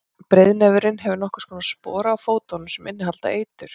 breiðnefurinn hefur nokkurs konar spora á fótunum sem innihalda eitur